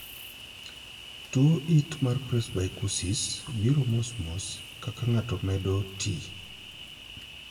Tuo it mar 'presbycusis' biro mosmos kaka ng'ato medo tii.